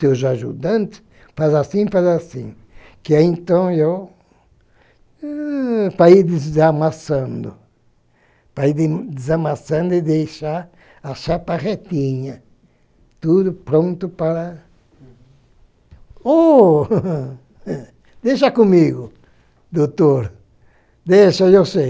teus ajudantes, faz assim, faz assim, que é então eu, para ir desamassando, para ir desamassando e deixar a chapa retinha, tudo pronto para... O, eh, deeixa comigo, doutor, deixa, eu sei.